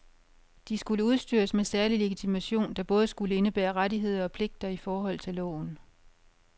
De skulle udstyres med særlig legitimation, der både skulle indebære rettigheder og pligter i forhold til loven.